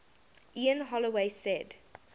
ian holloway said